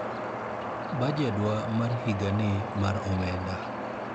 bajedwa mar higa ni mar omenda